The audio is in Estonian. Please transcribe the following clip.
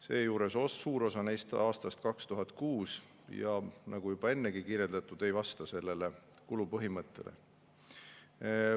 Seejuures on suur osa neist aastast 2006 ega vasta, nagu juba ennegi kirjeldatud, kulupõhimõttele.